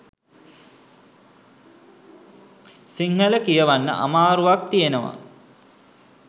සිංහළ කියවන්න අමාරුවක් තියෙනවා